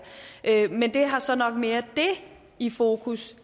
men det har så nok mere det i fokus